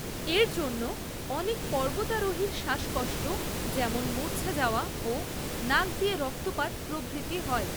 এর জন্য অনেক পর্বতারোহীর শ্বাসকষ্ট যেমন মূৰ্চ্ছা যাওয়া ও নাক দিয়ে রক্তপাত প্রভৃতি হয়।